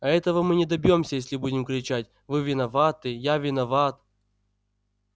а этого мы не добьёмся если будем кричать вы виноваты я виноват